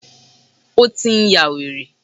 Ó tí n yá wèrè.